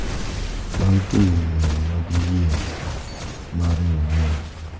Bang’ timo ng’eyo mar yie mare owuon.